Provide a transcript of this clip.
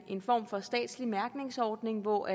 en form for statslig mærkningsordning hvor